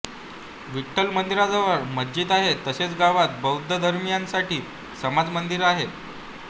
विठ्ठल मंदिराजवळच मस्जिद आहे तसेच गावात बौध्दधर्मीयांसाठी समाज मंदिर आहे